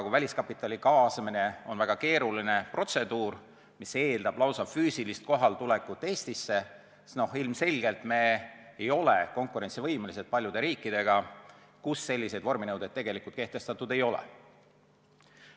Kui väliskapitali kaasamine on väga keeruline protseduur, mis eeldab lausa füüsilist kohaletulekut Eestisse, siis ilmselgelt ei ole me konkurentsivõimelised paljude riikidega võrreldes, kus selliseid vorminõudeid kehtestatud ei ole.